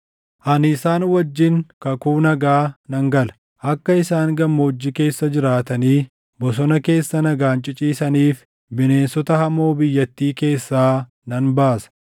“ ‘Ani isaan wajjin kakuu nagaa nan gala; akka isaan gammoojjii keessa jiraatanii bosona keessa nagaan ciciisaniif bineensota hamoo biyyattii keessaa nan baasa.